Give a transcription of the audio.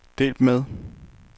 delt med